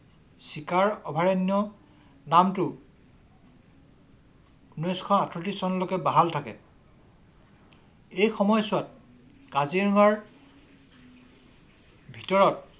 চিকাৰ অভয়াৰণ্য নামটো ঊনৈশ আঠত্ৰিছ চনলৈকে বাহাল থাকে। এই সময়ছোৱাত কাজিৰঙাৰ ভিতৰত ‌